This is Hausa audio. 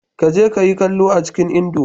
Ka je ka yi kallo a cikin indo